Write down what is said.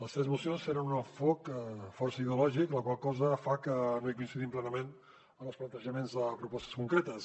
les tres mocions tenen un enfocament força ideològic la qual cosa fa que no coincidim plenament amb els plantejaments de propostes concretes